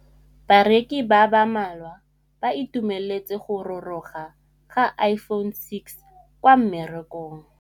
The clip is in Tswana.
Bareki ba ba malwa ba ituemeletse go gôrôga ga Iphone6 kwa mmarakeng.